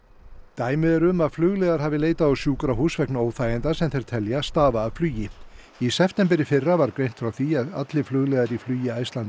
dæmi eru um að flugliðar hafi leitað á sjúkrahús vegna óþæginda sem þeir telja stafa af flugi í september í fyrra var greint frá því að allir flugliðar í flugi Icelandair